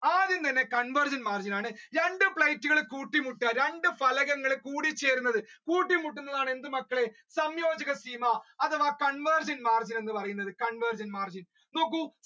ആദ്യം വരുന്നത് convergent margin ആണ് രണ്ട് plate കൾ കൂട്ടി മുട്ടുക രണ്ട് പലകങ്ങള് കൂടിച്ചേരുന്നത് കൂട്ടിമുട്ടുന്നതാണ് എന്ത് മക്കളെ സംയോജക അധവാ convergent margin എന്ന് പറയുന്നത് നോക്കൂ